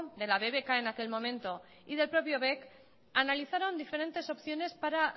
de la bbk en aquel momento y del propio bec analizaron diferentes opciones para